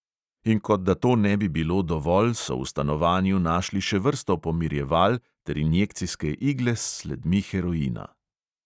In kot da to ne bi bilo dovolj, so v stanovanju našli še vrsto pomirjeval ter injekcijske igle s sledmi heroina.